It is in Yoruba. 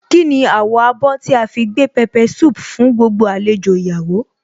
Kíni àwọ̀ abọ́ tí a fi gbé pepper soup fún gbogbo àlejò ìyàwó